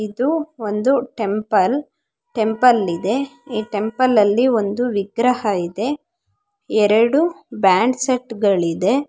ಇದು ಒಂದು temple temple ಇದೆ ಈ ಟೆಂಪಲ್ ಲ್ಲಿ ಒಂದು ವಿಗ್ರಹಗ ಇದೆ ಎರಡು ಬ್ಯಾಂಡ್ಸೆಟ್ಗಳಿದೆ .